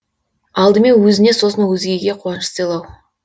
алдымен өзіне сосын өзгеге қуаныш сыйлау